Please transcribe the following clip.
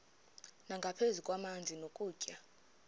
nangaphezu kwamanzi nokutya